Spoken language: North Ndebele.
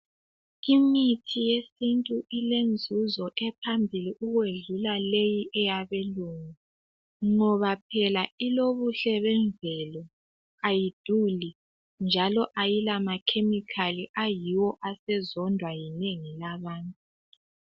Imithi yesintu ilenzuzo ephambili, ukwedlula leyi eyabLungu, ngoba phela ilobuhle bemvelo. Kayiduli. kayilamachemical. Ayiwo asezondwa linengi labantu.